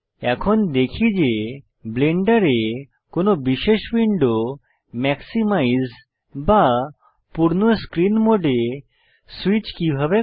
এখন দেখি যে ব্লেন্ডারে কোন বিশেষ উইন্ডো ম্যাক্সিমাইজ বা পূর্ণ স্ক্রীন মোডে স্যুইচ কিভাবে করে